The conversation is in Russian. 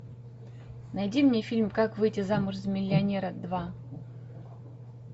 найди мне фильм как выйти замуж за миллионера два